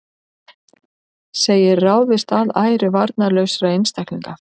Segir ráðist að æru varnarlausra einstaklinga